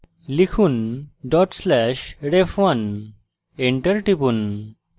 লিখুন/ref1 dot slash ref1 enter টিপুন